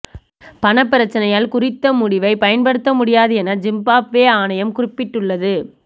பணப் பிரச்சனையால் குறித்த முடிவை பயன்படுத்த முடியாது என ஜிம்பாப்வே ஆணையம் குறிப்பிட்டுள்ளது